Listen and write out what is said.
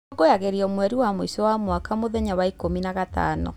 ĩkũngũĩragĩrwo mweri wa mwĩico wa mwaka mũthenya wa ikũmi na gatano.